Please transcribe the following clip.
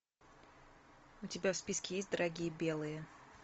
у тебя в списке есть дорогие белые